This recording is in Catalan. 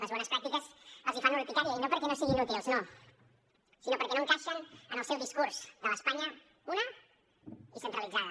les bones pràctiques els fan urticària i no perquè no siguin útils no sinó perquè no encaixen en el seu discurs de l’espanya una i centralitzada